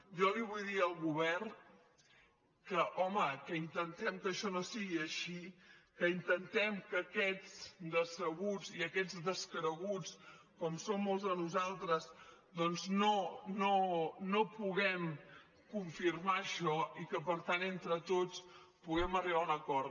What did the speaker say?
jo li vull dir al govern que home que intentem que això no sigui així que intentem que aquests decebuts i aquests descreguts com som molts de nosaltres doncs no puguem confirmar això i que per tant entre tots puguem arribar a un acord